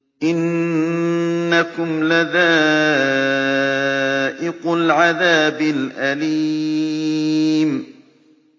إِنَّكُمْ لَذَائِقُو الْعَذَابِ الْأَلِيمِ